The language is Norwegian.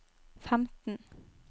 femten